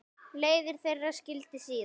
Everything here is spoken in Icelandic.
Leiðir þeirra skildi síðar.